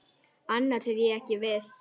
Annars er ég ekki viss.